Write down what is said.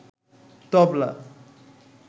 তবলা